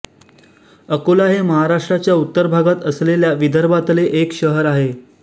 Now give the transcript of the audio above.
अकोला हे महाराष्ट्राच्या उत्तर भागात असलेल्या विदर्भातले एक शहर आहे